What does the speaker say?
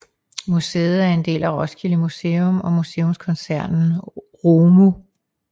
Museet er en del af Roskilde Museum og Museumskoncernen ROMU